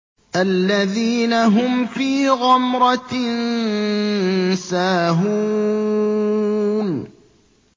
الَّذِينَ هُمْ فِي غَمْرَةٍ سَاهُونَ